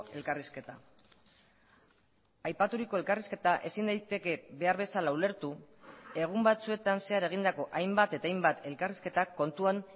elkarrizketa aipaturiko elkarrizketa ezin daiteke behar bezala ulertu egun batzuetan zehar egindako hainbat eta hainbat elkarrizketak kontuan